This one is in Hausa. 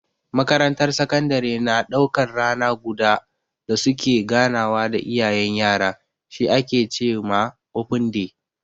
Makarantar sakandare na daukan rana guda da su ke ganawa da iyayen yara, shi ake ce ma "open day".